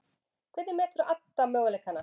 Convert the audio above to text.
Hvernig metur Adda möguleikana?